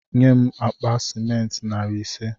Enye m akpa sịmentị narị ise